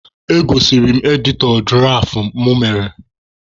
Egosiri m editọ dụraf mụ mere.